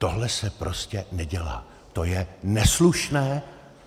Tohle se prostě nedělá, to je neslušné.